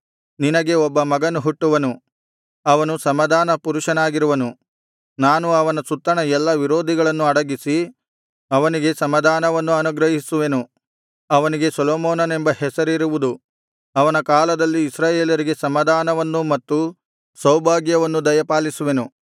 ನಿನಗೆ ಒಬ್ಬ ಮಗನು ಹುಟ್ಟುವನು ಅವನು ಸಮಾಧಾನ ಪುರುಷನಾಗಿರುವನು ನಾನು ಅವನ ಸುತ್ತಣ ಎಲ್ಲಾ ವಿರೋಧಿಗಳನ್ನು ಅಡಗಿಸಿ ಅವನಿಗೆ ಸಮಾಧಾನವನ್ನು ಅನುಗ್ರಹಿಸುವೆನು ಅವನಿಗೆ ಸೊಲೊಮೋನನೆಂಬ ಹೆಸರಿರುವುದು ಅವನ ಕಾಲದಲ್ಲಿ ಇಸ್ರಾಯೇಲರಿಗೆ ಸಮಾಧಾನವನ್ನೂ ಮತ್ತು ಸೌಭಾಗ್ಯವನ್ನೂ ದಯಪಾಲಿಸುವೆನು